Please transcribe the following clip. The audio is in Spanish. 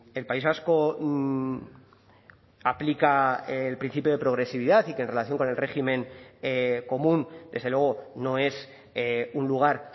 el país vasco aplica el principio de progresividad y que en relación con el régimen común desde luego no es un lugar